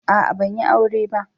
A'a ban yi aure ba.